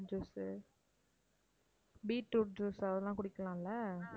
juice beetroot juice அதெல்லாம் குடிக்கலாம்ல?